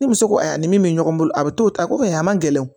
Ni muso ko a ni min bɛ ɲɔgɔn bolo a bɛ to ta ko ye a man gɛlɛn